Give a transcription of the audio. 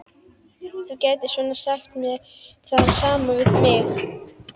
Þú gætir svo sem sagt það sama við mig.